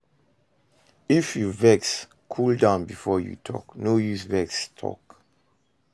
If you vex, cool down before you talk, no use vex talk